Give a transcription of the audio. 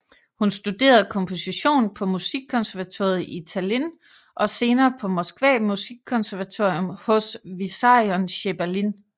Hun studerede komposition på musikkonservatoriet i Tallinn og senere på Moskva musikkonservatorium hos Vissarion Sjebalin